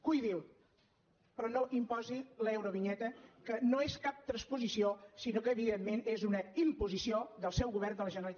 cuidi’l però no imposi l’eurovinyeta que no és cap transposició sinó que evidentment és una imposició del seu govern de la generalitat